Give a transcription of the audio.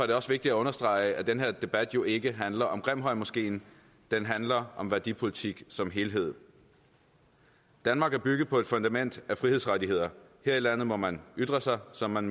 det også vigtigt at understrege at den her debat jo ikke handler om grimhøjmoskeen den handler om værdipolitik som helhed danmark er bygget på et fundament af frihedsrettigheder her i landet må man ytre sig som man